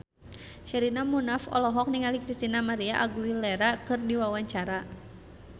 Sherina Munaf olohok ningali Christina María Aguilera keur diwawancara